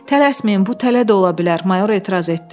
Tələsməyin, bu tələ də ola bilər, mayor etiraz etdi.